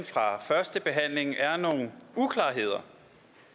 fra førstebehandlingen er nogle uklarheder